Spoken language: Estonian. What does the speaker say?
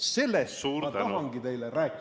Sellest ma tahangi teile rääkida.